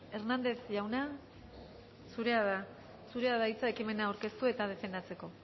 hernández jauna zurea da hitza ekimena aurkeztu eta defendatzeko